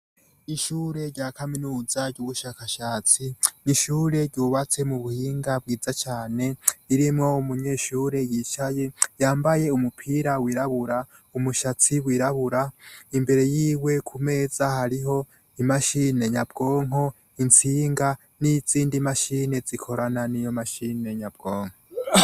Ishure rya kaminuza ry'ubushakashatsi, ni ishure ryubatse mu buhinga bwiza cane, ririmwo umunyeshure yicaye, yambaye umupira wirabura, umutsatsi wirabura, imbere yiwe ku meza hariho imashine nyabwonko, intsinga, n'izindi mashine zikorana n'iyo mashine nyabwonko.